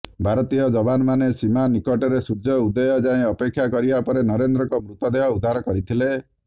ଭାରତୀୟ ଯବାନମାନେ ସୀମା ନିକଟରେ ସୂର୍ଯ୍ୟ ଉଦୟ ଯାଏ ଅପେକ୍ଷା କରିବା ପରେ ନରେନ୍ଦ୍ରଙ୍କ ମୃତଦେହ ଉଦ୍ଧାର କରିଥିଲେ